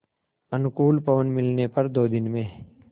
अनुकूल पवन मिलने पर दो दिन में